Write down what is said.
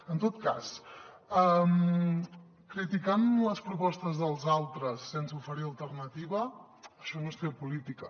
en tot cas criticant les propostes dels altres sense oferir alternativa això no és fer política